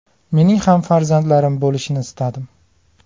Mening ham farzandlarim bo‘lishini istadim.